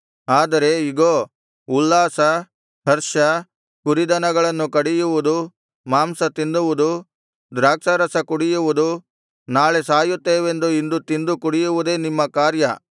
ಆದರೆ ಇಗೋ ಉಲ್ಲಾಸ ಹರ್ಷ ಕುರಿದನಗಳನ್ನು ಕಡಿಯುವುದು ಮಾಂಸ ತಿನ್ನುವುದು ದ್ರಾಕ್ಷಾರಸ ಕುಡಿಯುವುದು ನಾಳೆ ಸಾಯುತ್ತೇವೆಂದು ಇಂದು ತಿಂದು ಕುಡಿಯುವುದೇ ನಿಮ್ಮ ಕಾರ್ಯ